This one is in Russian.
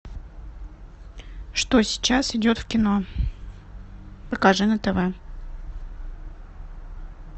что сейчас идет в кино покажи на тв